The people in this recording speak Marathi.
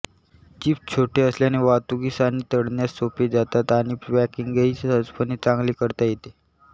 चिप्स छोटे असल्याने वाहतुकीस आणि तळण्यास सोपे जातात आणि पॅकिंगही सहजपणे चांगले करता येते